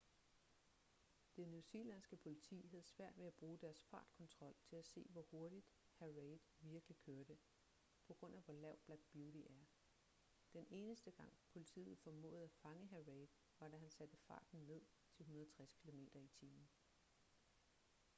det newzealandske politi havde svært ved at bruge deres fartkontrol til at se hvor hurtigt hr. reid virkelig kørte på grund af hvor lav black beauty er. den eneste gang politiet formåede at fange hr. reid var da han satte farten ned til 160 km/t